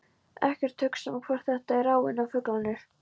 Ekkert hugsa um hvort þetta er áin eða fuglarnir.